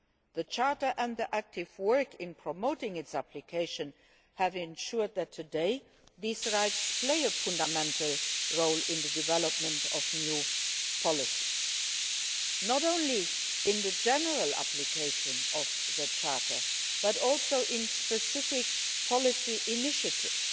The Charter and the active work in promoting its application have ensured that today these rights play a fundamental role in the development of new policies not only in the general application of the Charter, but also in specific policy initiatives